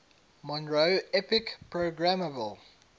monroe epic programmable